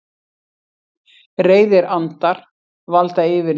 Reiðir andar valda yfirliði